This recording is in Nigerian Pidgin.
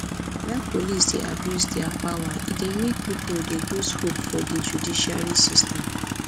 when police dey abuse their power e dey make pipo dey loose hope for di judicial system